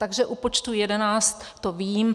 Takže u počtu 11 to vím.